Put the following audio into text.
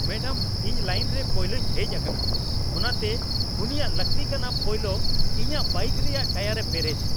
Madam, ᱤᱧ line ᱨᱮ ᱯᱳᱭᱞᱳᱧ ᱦᱮᱡᱽ ᱟᱠᱟᱱᱟ, ᱚᱱᱟᱛᱮ ᱩᱱᱤᱭᱟᱜ ᱞᱟᱹᱠᱛᱤ ᱠᱟᱱᱟ ᱯᱳᱭᱞᱳ ᱤᱧᱟᱹᱜ ᱵᱟᱭᱤᱠ ᱨᱮᱭᱟᱜ ᱴᱚᱭᱟᱨᱮ ᱯᱮᱨᱮᱪ ᱾